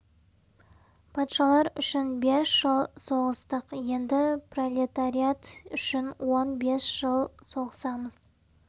патшалар үшін бес жыл соғыстық енді пролетариат үшін он бес жыл соғысамыз